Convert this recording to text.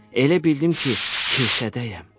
Elə bildim ki, kilsədəyəm.